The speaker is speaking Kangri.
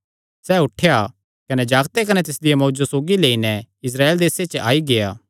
सैह़ उठेया कने जागते कने तिसदिया मांऊ जो सौगी लेई नैं इस्राएल देसे च आई गेआ